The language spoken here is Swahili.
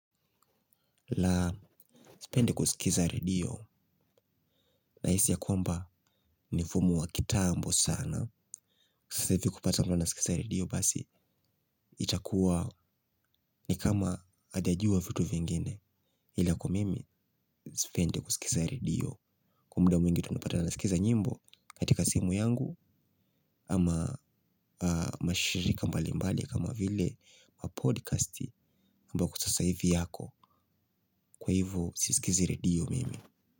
La, sipendi kusikiza redio, nahisia kwamba ni mfumo wa kitambo sana. Kusasa hivi kupata mbo na sikiza radio basi. Itakuwa ni kama ajajua vitu vingine ila kwa mimi sipendi kusikiza redio. Kwa muda mwingi tunapata kusikiza nyimbo katika simu yangu. Ama mashirika mbali mbali kama vile ma podkasti Mba kwa sasa hivi yako kwa hivyo siskizi redio mimi.